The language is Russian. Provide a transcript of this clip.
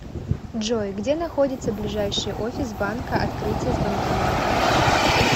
джой где находится ближайший офис банка открытие с банкоматом